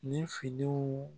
Ni finiw